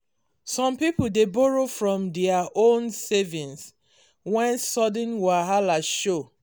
some people dey borrow from dia own savings when sudden wahala show